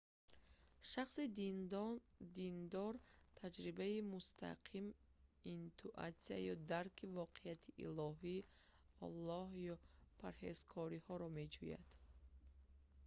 шахси диндор таҷрибаи мустақим интуитсия ё дарки воқеияти илоҳӣ/оллоҳ ё парҳезкориҳоро меҷӯяд